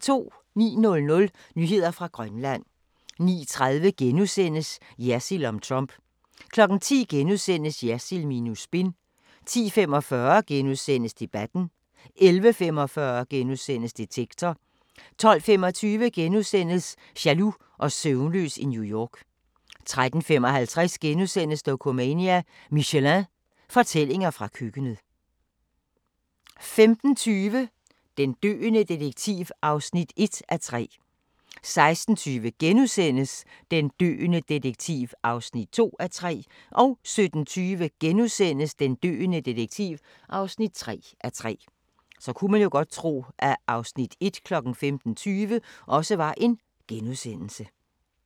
09:00: Nyheder fra Grønland 09:30: Jersild om Trump * 10:00: Jersild minus spin * 10:45: Debatten * 11:45: Detektor * 12:25: Jaloux og søvnløs i New York * 13:55: Dokumania: Michelin – fortællinger fra køkkenet * 15:20: Den døende detektiv (1:3) 16:20: Den døende detektiv (2:3)* 17:20: Den døende detektiv (3:3)*